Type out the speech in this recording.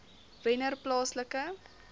wennerplaaslike